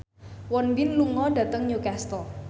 Won Bin lunga dhateng Newcastle